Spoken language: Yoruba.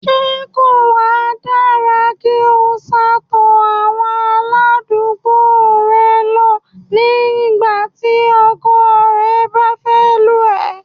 Ṣé kò wa dára kí o sá'to àwọn aládùúgbò rẹ lọ ní ìgbà tí ọkọ rẹ bá fẹ́ lù ẹ́?